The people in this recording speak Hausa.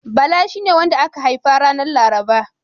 Bala shine wanda aka haifa ranar Laraba.